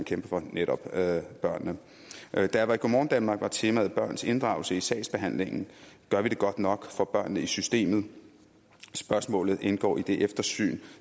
kæmper for netop børnene da jeg var i go morgen danmark var temaet børns inddragelse i sagsbehandlingen gør vi det godt nok for børnene i systemet spørgsmålet indgår i det eftersyn